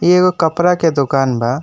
एगो कपड़ा के दुकान बा।